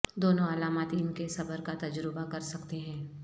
دونوں علامات ان کے صبر کا تجربہ کر سکتے ہیں